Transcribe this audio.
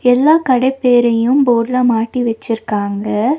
எல்லா கடை பேரையும் போர்டுல மாட்டி வெச்சிருக்காங்க.